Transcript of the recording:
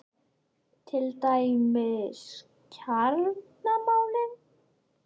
Til dæmis kjaramálin?